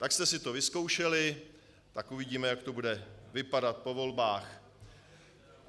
Tak jste si to vyzkoušeli, tak uvidíme, jak to bude vypadat po volbách.